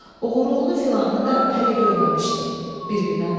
Oğurluğunu filanını da hələ görməmişdim.